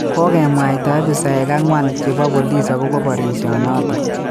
Kokemwoito abisayek ang'wan chebo bolis akobo barisyenoto